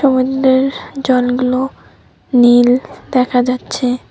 সমুদ্রের জলগুলো নীল দেখা যাচ্ছে।